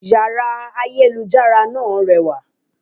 Yàrá ayélujára náà rewà